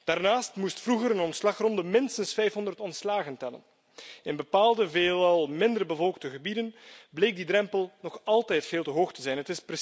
Daarnaast moest vroeger een ontslagronde minstens 500 ontslagen tellen. In bepaalde, veelal minder bevolkte gebieden bleek die drempel nog altijd veel te hoog te zijn.